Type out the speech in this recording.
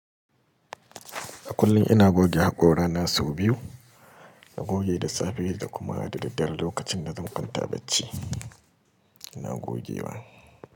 A kullum ina goge haƙora na sau biyu. Na goge da safe da kuma da daddare lokacin na zunkanta bacci ina gogewa.